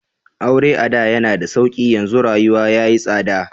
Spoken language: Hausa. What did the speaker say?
Aure ada yana da sauƙi, yanzu rayuwa ya yi tsada.